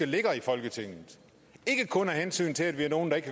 ligger i folketinget ikke kun af hensyn til at vi er nogle der ikke